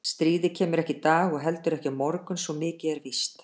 Stríðið kemur ekki í dag og heldur ekki á morgun svo mikið er víst.